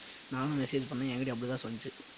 நானும் message பண்ணேன் என்கிட்டயும் அப்படி தான் சொல்லுச்சு